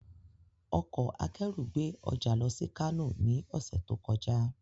Ọkọ̀ akérù gbé ọjà lọ sí Kánò ní ọ̀sẹ̀ tó kọjá